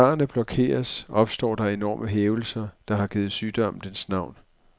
Når karrene blokeres, opstår de enorme hævelser, der har givet sygdommen dens navn.